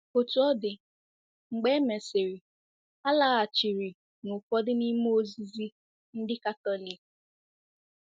Otú ọ dị, mgbe e mesịrị, ha laghachiri n'ụfọdụ n'ime ozizi ndị Katọlik.